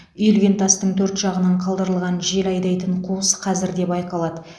үйілген тастың төрт жағынан қалдырылған жел айдайтын қуыс қазір де байқалады